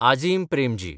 Azim Premji